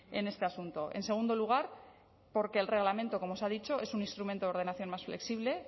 en este asunto en segundo lugar porque el reglamento como se ha dicho es un instrumento de ordenación más flexible